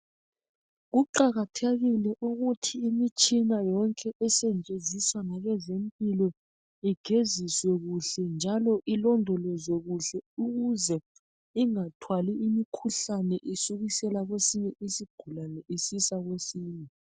Kuqakathekile ukuthi imitshina yonke esetshenziswa ngabezempilo igeziswe kuhle njalo ilondolozwe ukuze ingathwali imikhuhlane iyisusa kwesinye isigulane isiya kwesinye.